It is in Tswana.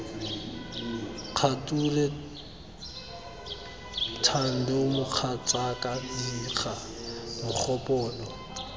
kgature thando mogatsaka diga mogopolo